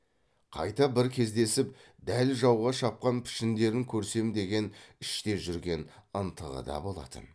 қайта бір кездесіп дәл жауға шапқан пішіндерін көрсем деген іште жүрген ынтықтығы да болатын